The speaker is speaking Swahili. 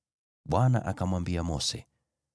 Bwana akamwambia Mose,